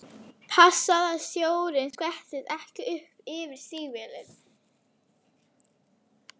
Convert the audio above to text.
Passaðu að sjórinn skvettist ekki upp fyrir stígvélin!